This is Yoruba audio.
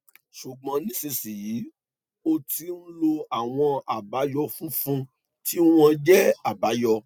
ṣùgbọn nísinsìnyí o ti ń lo àwọn àbáyọ funfun tí wọn jẹ àbáyọ